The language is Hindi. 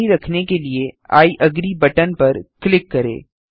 जारी रखने के लिए आई अग्री बटन पर क्लिक करें